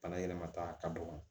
Bana yɛlɛmata ka dɔgɔ